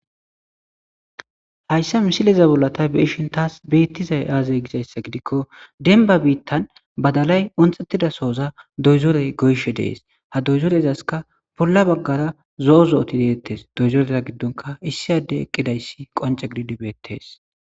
hayssa misileza bollatay be'eshin taas beettizay aazay gizayssa gidikko denba biittan badalay onxettida sooza doyzorey goyshe dees ha doyzorezaska bolla baggara zo7o zo7oti deettes doyzoreza giddonka issi adde eqqidayssi qonce gididibeettes